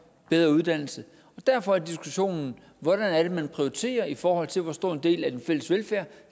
bedre uddannelse derfor er diskussionen hvordan er det man prioriterer i forhold til hvor stor en del af den fælles velfærd